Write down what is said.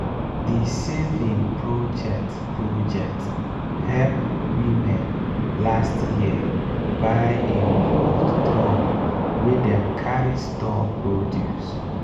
di saving project project help womne last year buy improved drum wey dem carry store produce.